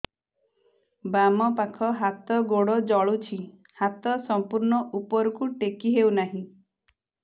ବାମପାଖ ହାତ ଗୋଡ଼ ଜଳୁଛି ହାତ ସଂପୂର୍ଣ୍ଣ ଉପରକୁ ଟେକି ହେଉନାହିଁ